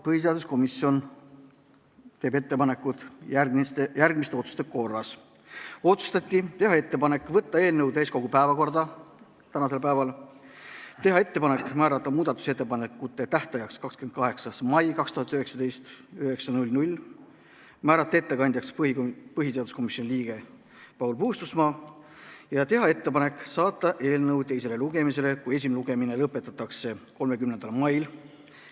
Põhiseaduskomisjon teeb järgmised ettepanekud: võtta eelnõu täiskogu tänase istungi päevakorda, määrata muudatusettepanekute tähtajaks 28. mai 2019 kell 9, määrata ettekandjaks põhiseaduskomisjoni liige Paul Puustusmaa ja teha ettepanek saata eelnõu teisele lugemisele, kui esimene lugemine lõpetatakse, 30. maiks.